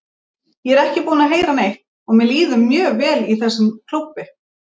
Ég er ekki búinn að heyra neitt og mér líður mjög vel í þessum klúbbi.